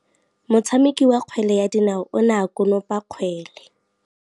Motshameki wa kgwele ya dinaô o ne a konopa kgwele.